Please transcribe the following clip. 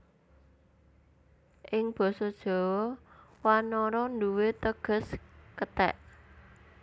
Ing Basa Jawa wanara nduwé teges kethèk